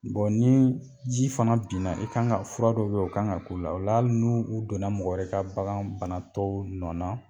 ni ji fana binna, i kan ka fura dɔw be yen, o kan ka k'u la, ola hali n'u u donna mɔgɔ wɛrɛ ka bagan banatɔw nɔ na